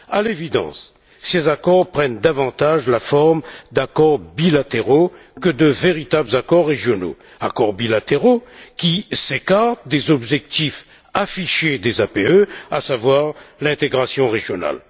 À l'évidence, ces accords prennent davantage la forme d'accords bilatéraux que de véritables accords régionaux, accords bilatéraux qui s'écartent des objectifs affichés des APE, à savoir l'intégration régionale.